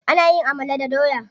Ana yin amala da doya.